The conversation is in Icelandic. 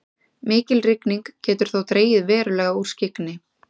mikil rigning getur þó dregið verulega úr skyggni